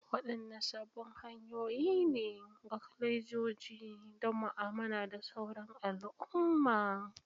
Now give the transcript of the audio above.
Wadanne sabbin hanyoyi ne ga kwalejoji don mu'amala da sauran al'umma?